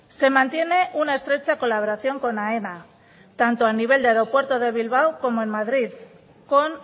se mantiene una estrecha colaboración con aena tanto a nivel de aeropuerto de bilbao como en madrid con